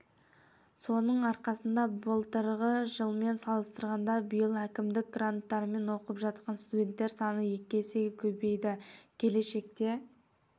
соның арқасында былтырғы жылмен салыстырғанда биыл әкімдік гранттарымен оқып жатан студенттер саны екі есеге көбейді келешекте